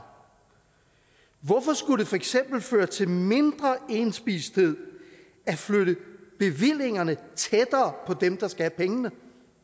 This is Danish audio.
hvorfor skulle det for eksempel føre til mindre indspisthed at flytte bevillingerne tættere på dem der skal have pengene